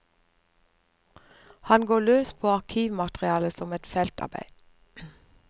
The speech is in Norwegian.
Han går løs på arkivmaterialet som et feltarbeid.